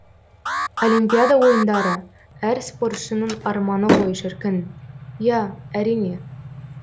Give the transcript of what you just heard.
олимпиада ойындары әр спортшының арманы ғой шіркін иә әрине